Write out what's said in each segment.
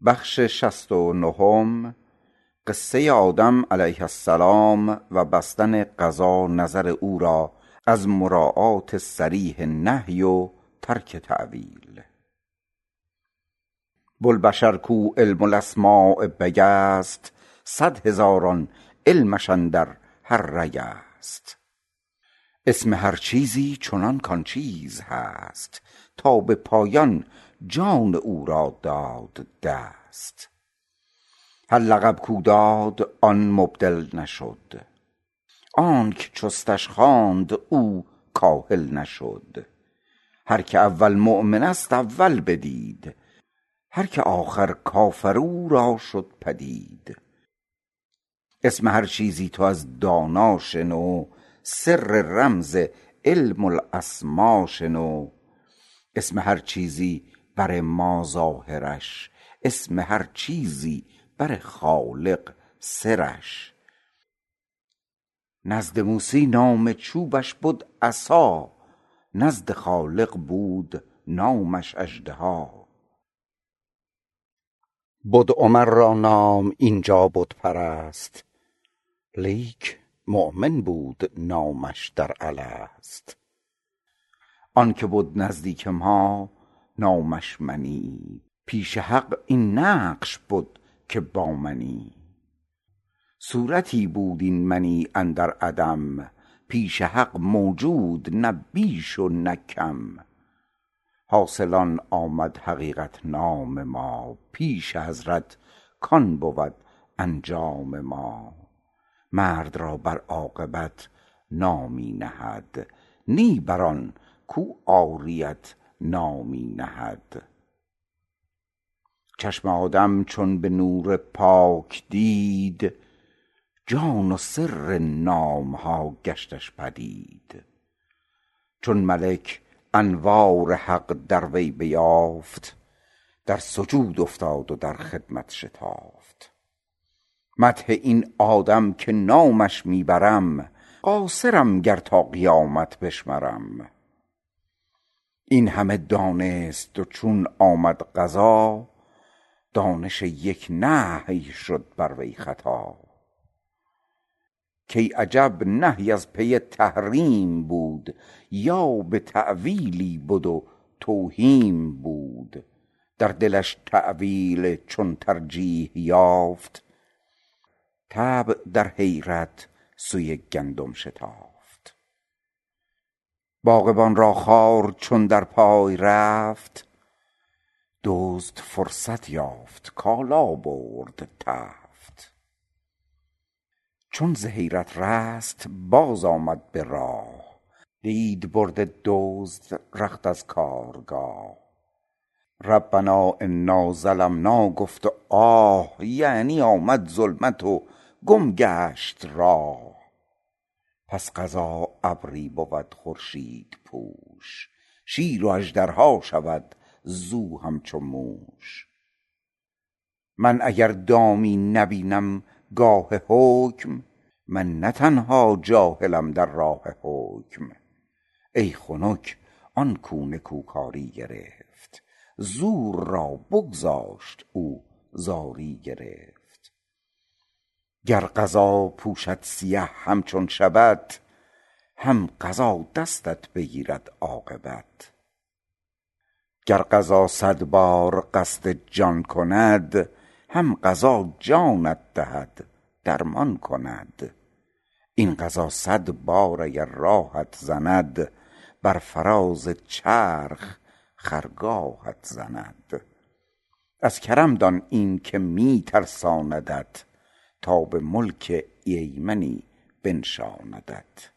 بوالبشر کو علم الاسما بگست صد هزاران علمش اندر هر رگست اسم هر چیزی چنان کان چیز هست تا به پایان جان او را داد دست هر لقب کو داد آن مبدل نشد آنک چستش خواند او کاهل نشد هر که اول مؤمن است اول بدید هر که آخر کافر او را شد پدید اسم هر چیزی تو از دانا شنو سر رمز علم الاسما شنو اسم هر چیزی بر ما ظاهرش اسم هر چیزی بر خالق سرش نزد موسی نام چوبش بد عصا نزد خالق بود نامش اژدها بد عمر را نام اینجا بت پرست لیک مؤمن بود نامش در الست آنک بد نزدیک ما نامش منی پیش حق این نقش بد که با منی صورتی بود این منی اندر عدم پیش حق موجود نه بیش و نه کم حاصل آن آمد حقیقت نام ما پیش حضرت کان بود انجام ما مرد را بر عاقبت نامی نهد نی بر آن کو عاریت نامی نهد چشم آدم چون به نور پاک دید جان و سر نام ها گشتش پدید چون ملک انوار حق از وی بتافت در سجود افتاد و در خدمت شتافت مدح این آدم که نامش می برم قاصرم گر تا قیامت بشمرم این همه دانست و چون آمد قضا دانش یک نهی شد بر وی خطا کای عجب نهی از پی تحریم بود یا به تاویلی بد و توهیم بود در دلش تاویل چون ترجیح یافت طبع در حیرت سوی گندم شتافت باغبان را خار چون در پای رفت دزد فرصت یافت کالا برد تفت چون ز حیرت رست باز آمد به راه دید برده دزد رخت از کارگاه ربنا انا ظلمنا گفت و آه یعنی آمد ظلمت و گم گشت راه پس قضا ابری بود خورشیدپوش شیر و اژدرها شود زو همچو موش من اگر دامی نبینم گاه حکم من نه تنها جاهلم در راه حکم ای خنک آن کو نکوکاری گرفت زور را بگذاشت او زاری گرفت گر قضا پوشد سیه همچون شبت هم قضا دستت بگیرد عاقبت گر قضا صد بار قصد جان کند هم قضا جانت دهد درمان کند این قضا صد بار اگر راهت زند بر فراز چرخ خرگاهت زند از کرم دان این که می ترساندت تا به ملک ایمنی بنشاندت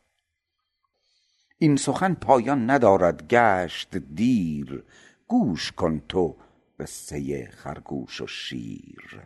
این سخن پایان ندارد گشت دیر گوش کن تو قصه خرگوش و شیر